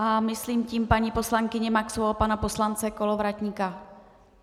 A myslím tím paní poslankyni Maxovou a pana poslance Kolovratníka.